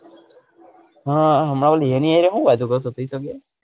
હ મલ એની હરે હુ વાતો કરતો પ્રિતમીયો,